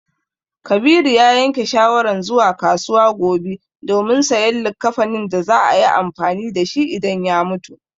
Kabiru ya yanke shawaran zuwa kasuwa gobe domin sayan likkafanin da za a yi amfani da shi idan ya mutu.